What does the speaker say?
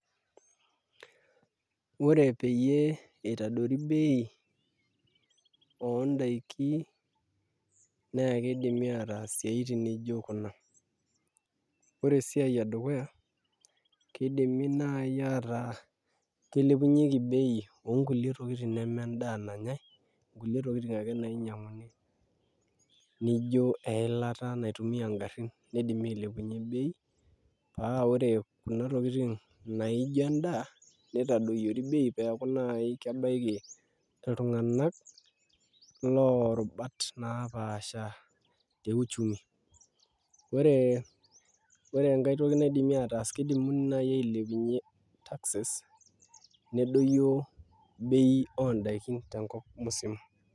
Ore peyie iadori bei oondaiki naa kidimi ataas isiaitin nijio kuna ore esiai edukuya kidimi naai aataa kilepieki bei oonkulie tokitin nemendaa nanyai kulie tokitin ake nainyiang'uni nijio eilata naitumia ngarrin, kidimi ailepunyie bei paa ore kuna tokitin naa ijio endaa nitadoyiori bei peeku naai kebaiki iltung'anak loorubat naapasha te uchumi, ore enkae toki naidimi aataas kidimi naai ailepunyie taxes nedoyio bei oondaiki tenkop musima.